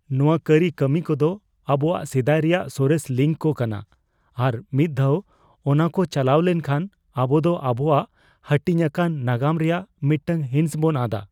ᱱᱚᱶᱟ ᱠᱟᱹᱨᱤᱠᱟᱹᱢᱤ ᱠᱚᱫᱚ ᱟᱵᱚᱣᱟᱜ ᱥᱮᱫᱟᱭ ᱨᱮᱭᱟᱜ ᱥᱚᱨᱮᱥ ᱞᱤᱝᱠ ᱠᱚ ᱠᱟᱱᱟ, ᱟᱨ ᱢᱤᱫ ᱫᱷᱟᱣ ᱚᱱᱟᱠᱚ ᱪᱟᱞᱟᱣ ᱞᱮᱱᱠᱷᱟᱱ, ᱟᱵᱚ ᱫᱚ ᱟᱵᱚᱣᱟᱜ ᱦᱟᱹᱴᱤᱧ ᱟᱠᱟᱱ ᱱᱟᱜᱟᱢ ᱨᱮᱭᱟᱜ ᱢᱤᱫᱴᱟᱝ ᱦᱤᱸᱥ ᱵᱚᱱ ᱟᱫᱼᱟ ᱾